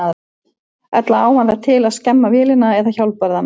Ella á hann það til að skemma vélina eða hjólbarðana.